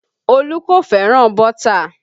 Olu kò fẹ́ràn bọ́tà